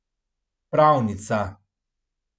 Pravnica.